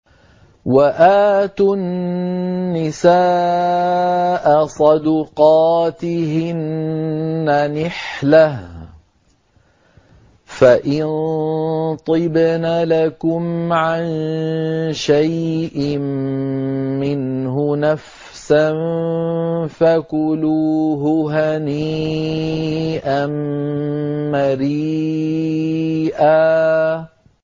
وَآتُوا النِّسَاءَ صَدُقَاتِهِنَّ نِحْلَةً ۚ فَإِن طِبْنَ لَكُمْ عَن شَيْءٍ مِّنْهُ نَفْسًا فَكُلُوهُ هَنِيئًا مَّرِيئًا